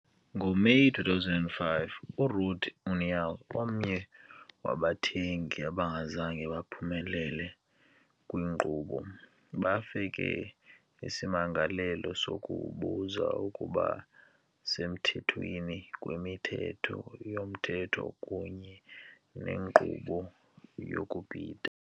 NgoMeyi 2005, uRede União, omnye wabathengi abangazange baphumelele kwinkqubo, bafake isimangalo sokubuza ukuba semthethweni kweMithetho yoMthetho kunye nenkqubo yokubhida.